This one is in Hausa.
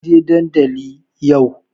Kar ki je dandalin yau!